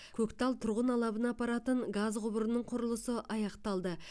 көктал тұрғын алабына апаратын газ құбырының құрылысы аяқталды